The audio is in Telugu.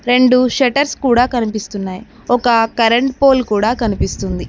రెండు షెట్టర్స్ కూడా కనిపిస్తున్నాయ్ ఒక కరెంట్ పోల్ కూడా కనిపిస్తుంది.